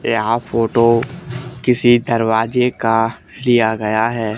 यह फोटो किसी दरवाजे का लिया गया है।